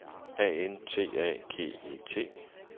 A N T A G E T